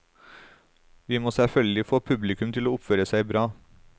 Vi må selvfølgelig få publikum til å oppføre seg bra.